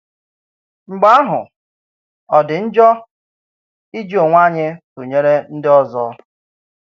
Mgbè áhù, ọ̀ dị njọ iji onwé anyị tụnyere ndị ọzọ?